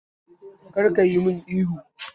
Kar kayi mun ihu